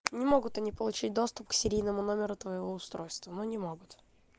не могут они получить доступ к серийному номеру твоего устройства ну не могут